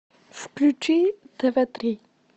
включи тв три